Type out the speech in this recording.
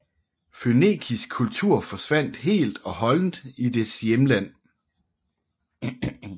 Fønikisk kultur forsvandt helt og holdent i dets hjemland